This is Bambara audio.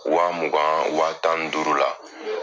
Waa mugan waa tani duuru la